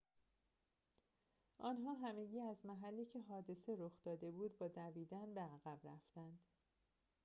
آنها همگی از محلی که حادثه رخ داده بود با دویدن به عقب رفتند